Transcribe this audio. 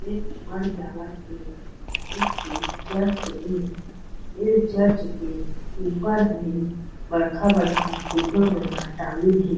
एक बढ़ एक ठी चर्च ए ए चर्च के ऊपर भी बड़खा -बड़खा फुग्गा मन ल टागिन हे।